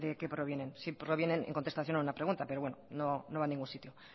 qué provienen si provienen en contestación a una pregunta pero bueno no va a ningún sitio